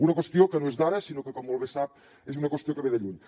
una qüestió que no és d’ara sinó que com molt bé sap és una qüestió que ve de lluny